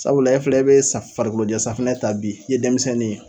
Sabula e filɛ bɛ sa farikolojɛ safinɛ ta bi i ye denmisɛnnin ye,